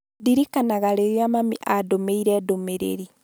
ndirikanaga rĩrĩa mami andũmĩra ndũmĩrĩri